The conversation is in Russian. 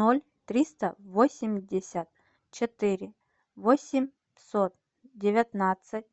ноль триста восемьдесят четыре восемьсот девятнадцать